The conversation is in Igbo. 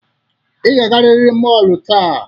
Ị ga-agarịrị mọọlu taa.